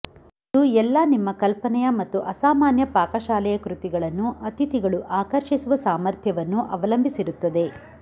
ಇದು ಎಲ್ಲಾ ನಿಮ್ಮ ಕಲ್ಪನೆಯ ಮತ್ತು ಅಸಾಮಾನ್ಯ ಪಾಕಶಾಲೆಯ ಕೃತಿಗಳನ್ನು ಅತಿಥಿಗಳು ಆಕರ್ಷಿಸುವ ಸಾಮರ್ಥ್ಯವನ್ನು ಅವಲಂಬಿಸಿರುತ್ತದೆ